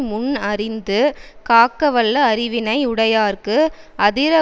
முன் அறிந்து காக்கவல்ல அறிவினை உடையார்க்கு அதிர